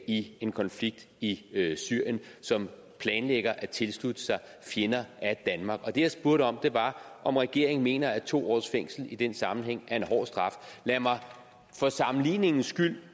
i en konflikt i syrien som planlægger at tilslutte sig fjender af danmark det jeg spurgte om var om regeringen mener at to års fængsel i den sammenhæng er en hård straf lad mig for sammenligningens skyld